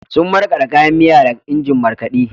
Sun markaɗa kayan miya da injin markaɗe.